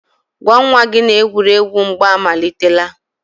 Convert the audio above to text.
gwa nwa gị na-egwuregwu mgba amalitela.